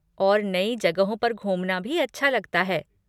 और नई जगहों पर घूमना भी अच्छा लगता है।